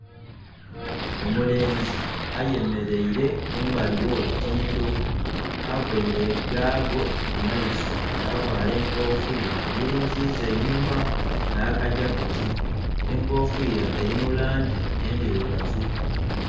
Omulenzi ayemeleire kumbali w'olutindo. Availe gaago ku maiso, yavala enkofira agilinziza einhuma, nh'aka jaketi. Enkofira eli mu langi endirugavu.